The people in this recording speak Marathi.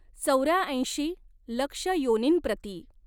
चौऱ्याऐंशी लक्ष योनींप्रती।